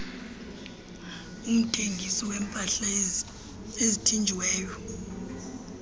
umthengisi weempahla ezithinjiweyo